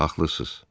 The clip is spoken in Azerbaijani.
Haqlısız.